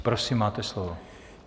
Prosím máte slovo.